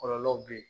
Kɔlɔlɔw be ye